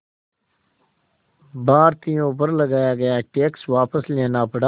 भारतीयों पर लगाया गया टैक्स वापस लेना पड़ा